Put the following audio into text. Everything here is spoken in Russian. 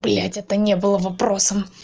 блядь это не было вопросом